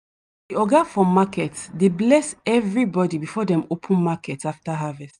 oga for market dey bless evrybody before dem open market after harvest.